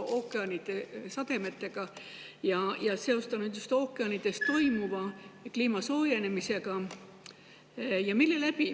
ookeanide ja sademetega ning seostanud ookeanides toimuvat kliima soojenemisega.